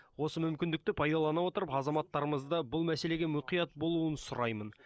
осы мүмкіндікті пайдалана отырып азаматтарымызды бұл мәселеге мұқият болуын сұраймын